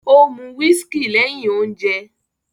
Ó mu whiskey lẹ́hìn ounje